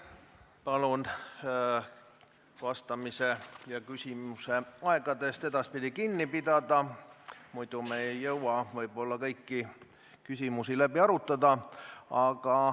Palun vastamise ja küsimise aegadest edaspidi kinni pidada, muidu ei jõua me võib-olla kõiki küsimusi läbi arutada.